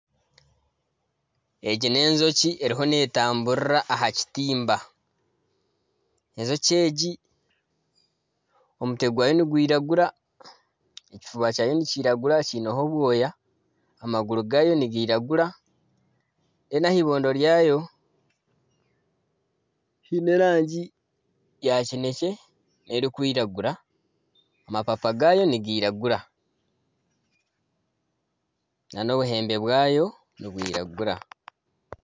Egi n'enjoki eriho neetamburira aha kitamba enjoki egi omutwe gwayo nigwiragura, ekifuba kyayo nikiragura kiineho obwoya amaguru gaayo nigairagura reero ahaibondo ryayo haine erangi ya kinekye n'erikwiragura amapapa gaayo nigiragura nana obuhembe bwayo nibwiragura